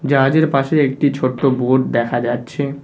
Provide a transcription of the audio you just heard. জাহাজের পাশে একটি ছোট্ট বোট দেখা যাচ্ছে।